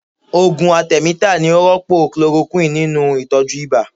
Ògùn atẹmítà ni ó rọ́pò kulorokúwìnì nínú Ìtọ́jú ibà.